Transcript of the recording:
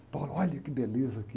E falou olha que beleza aqui.